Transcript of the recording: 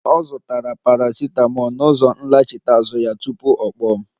Ọ zụtara paracetamol na ụzọ nlachite azụ ya, tupu ọ kpọọ m